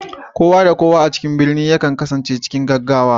Kowa da kowa a cikin birni yakan kasance cikin gaggawa